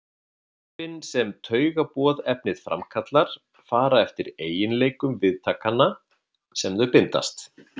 Áhrifin sem taugaboðefnið framkallar fara eftir eiginleikum viðtakanna sem þau bindast.